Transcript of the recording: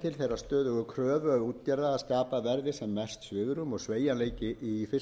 til þeirrar stöðugu kröfu útgerða að skapað verði sem mest svigrúm og sveigjanleiki í fiskveiðistjórnunarkefinu